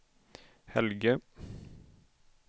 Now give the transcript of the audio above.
Helge